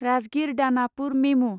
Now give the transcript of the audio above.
Rajgir Danapur मेमु